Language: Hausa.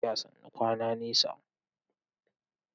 Tafiya sannu sannu, kwana nesa.